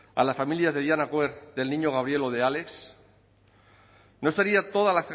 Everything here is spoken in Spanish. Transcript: a la familia de diana quer del niño gabriel o de álex no estaría toda